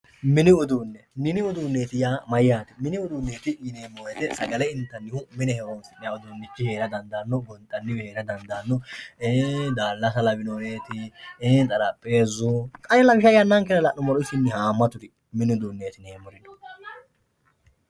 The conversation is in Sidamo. Mini uduune, mini. uduuneti yaa mayyate ,mini uduuneti yinanni woyte sagale intanni mine horonsi'nanni uduunichi heera dandaano ,gonxanniwi heera dandaano, ii'i daalasa lawinori ,xaraphezu, lawishsha yannankera la'nuummoro hamatu mini uduuneti yineemmori no.